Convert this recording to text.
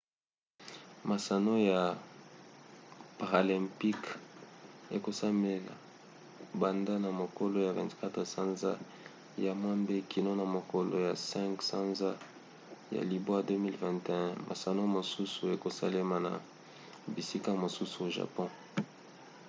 masano ya paralympiques ekosalema banda na mokolo ya 24 sanza ya mwambe kino na mokolo ya 5 sanza ya libwa 2021. masano mosusu ekosalema na bisika mosusu na japon